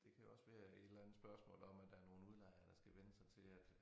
Det kan også være et eller andet spørgsmål om at der nogle udlejere der skal vænne sig til at